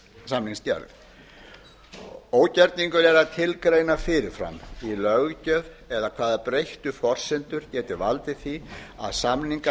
samningsgerð ógerningur er að tilgreina fyrir fram í löggjöf eða hvaða breyttu forsendur geti valdið því að samningar